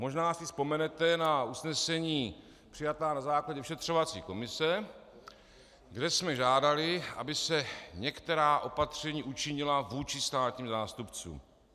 Možná si vzpomenete na usnesení přijatá na základě vyšetřovací komise, kde jsme žádali, aby se některá opatření učinila vůči státním zástupcům.